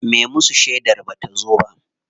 Me musu shedar bata zo ba.